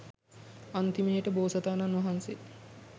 අන්තිමේට බෝසතාණන් වහන්සේ